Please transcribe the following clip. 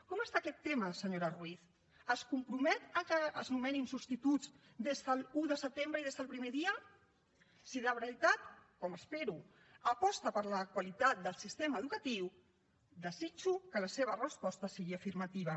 com està aquest tema senyora ruiz es compromet que es nomenin substituts des de l’un de setembre i des del primer dia si de veritat com espero aposta per la qualitat del sistema educatiu desitjo que la seva resposta sigui afirmativa